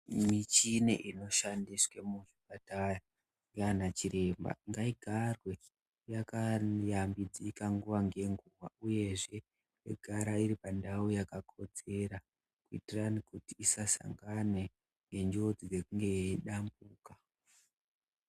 Michini iri kushandiswa muzviparara ndiana chiremba ngaigare yakashambidzika nguwa ngenguwa, uyezve yogara iri pandau yakakodzera kuitira kuti isasangana nenjodzi dzekunge yeidambuka.